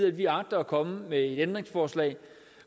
at vi agter at komme med et ændringsforslag